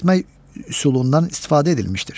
şahid etmək üsulundan istifadə edilmişdir.